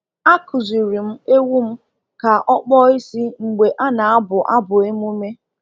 A kụziri m ewu m ka ọ kpọọ isi mgbe a na-abụ abụ emume.